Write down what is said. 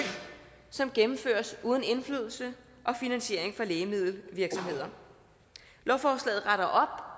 som gennemføres uden indflydelse og finansiering for lægemiddelvirksomheder lovforslaget retter